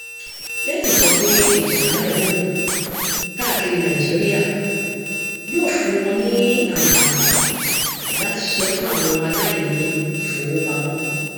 eli sọ pé ìtànkálẹ momo káàkiri nàìjíríà yóò fún wọn ní àǹfààní láti ṣiṣẹ fún àwọn aláìní ìfowópamọ